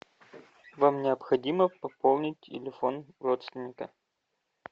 вам необходимо пополнить телефон родственника